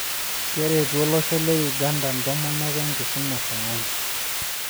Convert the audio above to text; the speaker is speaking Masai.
Keretu olosho le Uganda ntomonok enkisuma e sayansi